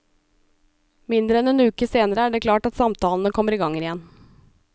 Mindre enn en uke senere er det klart at samtalene kommer i gang igjen.